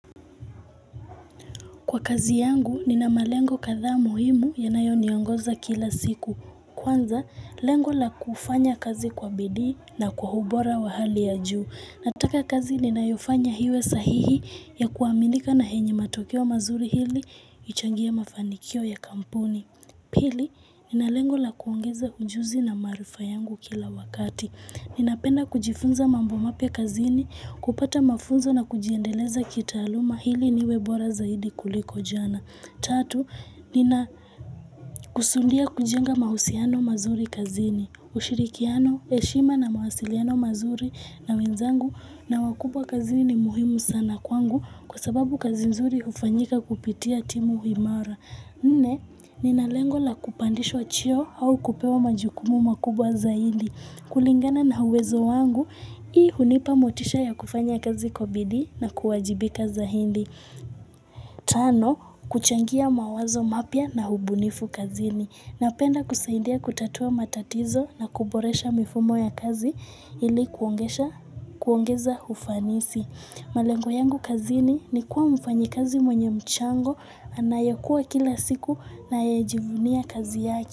Kwa kazi yangu, nina malengo kadhaa muhimu yanayoniongoza kila siku. Kwanza, lengo la kufanya kazi kwa bidii na kwa ubora wa hali ya juu. Nataka kazi ninayofanya iwe sahihi ya kuaminika na yenye matokeo mazuri ili ichangie mafanikio ya kampuni. Pili, nina lengo la kuongeza ujuzi na maarifa yangu kila wakati. Ninapenda kujifunza mambo mapya kazini, kupata mafunzo na kujiendeleza kitaaluma ili niwe bora zaidi kuliko jana. Tatu, ninakusudia kujenga mahusiano mazuri kazini, ushirikiano, heshima na mawasiliano mazuri na wenzangu na wakubwa kazini ni muhimu sana kwangu kwa sababu kazi nzuri hufanyika kupitia timu imara. Nne, nina lengo la kupandishwa cheo au kupewa majukumu makubwa zaidi. Kulingana na uwezo wangu, hii hunipa motisha ya kufanya kazi kwa bidii na kuwajibika zaidi. Tano, kuchangia mawazo mapia na hubunifu kazini. Napenda kusaidia kutatua matatizo na kuboresha mifumo ya kazi ili kuongeza ufanisi. Malengo yangu kazini ni kuwa mfanyikazi mwenye mchango anayekua kila siku na yejivunia kazi yake.